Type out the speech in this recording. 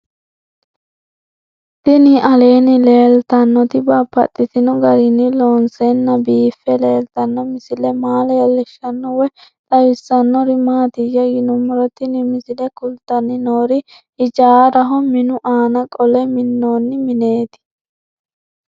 Tinni aleenni leelittannotti babaxxittinno garinni loonseenna biiffe leelittanno misile maa leelishshanno woy xawisannori maattiya yinummoro tinni misile kulittanni noori hijaaraho minu aanna qole minnoonni mineetti